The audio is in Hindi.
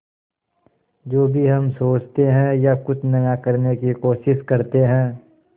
जो भी हम सोचते हैं या कुछ नया करने की कोशिश करते हैं